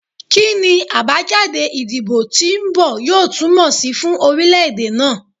Kini abajade idibo ti nbọ yoo tumọ si fun orilẹ-ede naa?